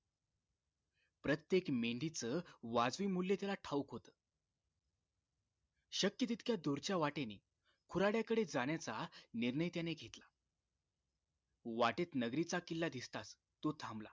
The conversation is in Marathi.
प्रत्येक मेंढीच वाजविमुल्य त्याला ठावूक होत शक्य तितक्या दूरच्या वाटेने खुराड्याकडे जाण्याचा निर्णय त्याने घेतला वाटेत नगरीचा किल्ला दिसताच तो थांबला